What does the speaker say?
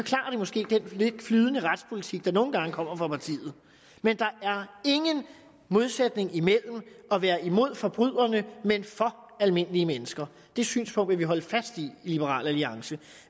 måske den lidt flydende retspolitik der nogle gange kommer fra partiet men der er ingen modsætning imellem at være imod forbryderne men for almindelige mennesker det synspunkt vil vi holde fast i i liberal alliance